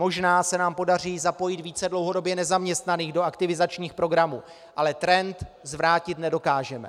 Možná se nám podaří zapojit více dlouhodobě nezaměstnaných do aktivizačních programů, ale trend zvrátit nedokážeme.